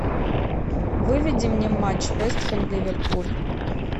выведи мне матч вест хэм ливерпуль